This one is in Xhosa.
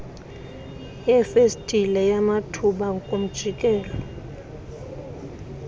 yefestile yamathuba kumjikelo